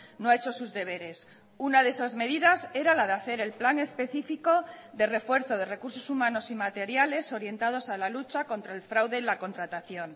no ha hecho sus deberes una de esas medidas era la de hacer el plan especifico de refuerzo de recursos humanos y materiales orientados a la lucha contra el fraude en la contratación